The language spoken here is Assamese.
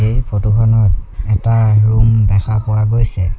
এই ফটো খনত এটা ৰুম দেখা পোৱা গৈছে।